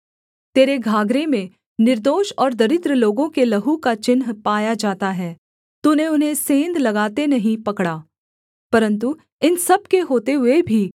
तेरे घाघरे में निर्दोष और दरिद्र लोगों के लहू का चिन्ह पाया जाता है तूने उन्हें सेंध लगाते नहीं पकड़ा परन्तु इन सब के होते हुए भी